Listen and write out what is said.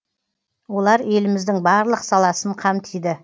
олар еліміздің барлық саласын қамтиды